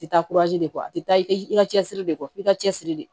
Taa de kɔ a te taa i ka cɛsiri de kɔ i ka cɛsiri de